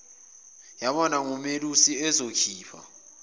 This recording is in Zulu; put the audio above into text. yabonwa ngumelusi ezokhipha